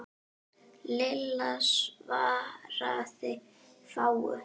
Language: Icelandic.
Lilla svaraði fáu.